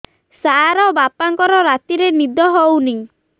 ସାର ବାପାଙ୍କର ରାତିରେ ନିଦ ହଉନି